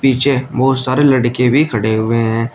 पीछे बहुत सारे लड़के भी खड़े हुए हैं।